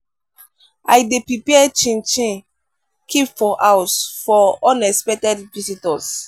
i dey prepare chin-chin keep for house for unexpected visitors.